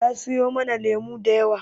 Ta siyo mana lemu da yawa.